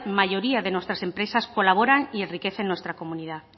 mayoría de nuestras empresas colaboran y enriquece nuestra comunidad